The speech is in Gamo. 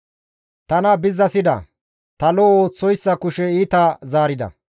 Tana bizzasida; ta lo7o ooththoyssa kushe iita zaarida.